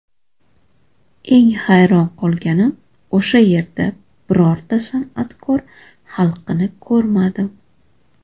Eng hayron qolganim o‘sha yerda birorta san’atkor xalqini ko‘rmadim.